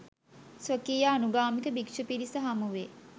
ස්වකීය අනුගාමික භික්‍ෂු පිරිස හමුවේ